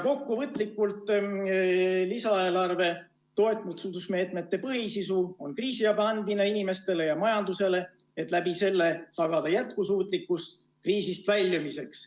Kokkuvõtlikult öeldes on lisaeelarve toetusmeetmete põhisisuks kriisiabi andmine inimestele ja majandusele, et selle kaudu tagada jätkusuutlikkus kriisist väljumiseks.